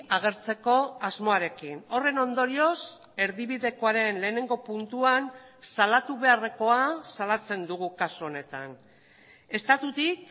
agertzeko asmoarekin horren ondorioz erdibidekoaren lehenengo puntuan salatu beharrekoa salatzen dugu kasu honetan estatutik